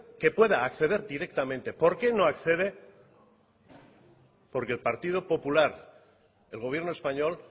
que pueda acceder directamente por qué no accede porque el partido popular el gobierno español